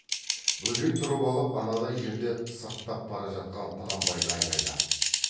бөжей тұрып алып анадай жерде сырттап бара жатқан құнанбайға айғайлап